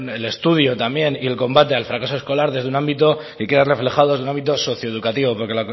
el estudio y el combate al fracaso escolar desde un ámbito que queda reflejado en el ámbito socio educativo porque